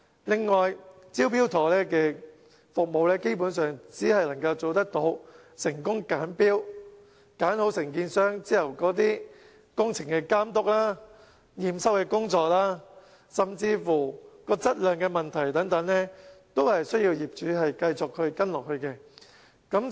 另外，"招標妥"服務基本上只能做到"成功揀標"，選好承建商後的工程監督及驗收工作，甚至質量問題等，均須業主繼續跟進。